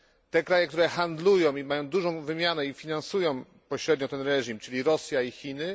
Te kraje, które handlują i mają dużą wymianę i finansują pośrednio ten reżim, czyli Rosja i Chiny?